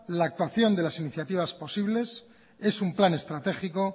la actuación de la iniciativa posibles es un plan estratégico